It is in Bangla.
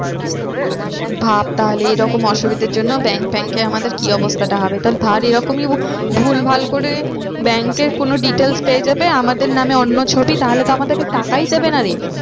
ভাব তাহলে এরকম অসুবিধার জন্য bank ফ্যাংকে আমাদের কি অবস্থাটা হবে। তো ধর এরকমই ভুলভাল করে bank এর কোনো details পেয়ে যাবে আমাদের নামে অন্য ছবি তাহলে তো আমাদেরকে টাকাই দেবে না রে।